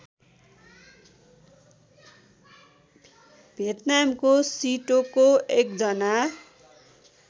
भियतनामको सिटोको एकजना